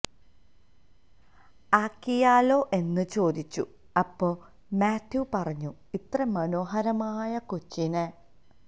ആക്കിയാലോ എന്ന് ചോദിച്ചു അപ്പൊ മാത്യു പറഞ്ഞു ഇത്ര മനോഹരമായ കൊച്ചിനെ